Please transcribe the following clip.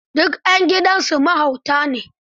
Duk 'yan gidansu mahauta ne.